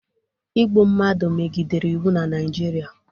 Igbu mmadụ megidere iwu na Naịjirịa.